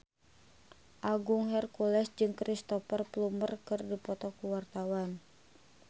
Agung Hercules jeung Cristhoper Plumer keur dipoto ku wartawan